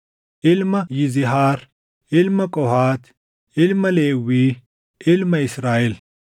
ilma Yizihaar, ilma Qohaati, ilma Lewwii, ilma Israaʼel;